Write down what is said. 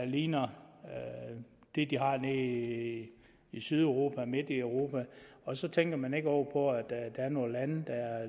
ligner det de har i i sydeuropa og midt i europa og så tænker man ikke over at der er nogle lande der er